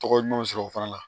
Tɔgɔ ɲuman sɔrɔ o fana la